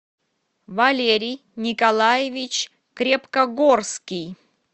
валерий николаевич крепкогорский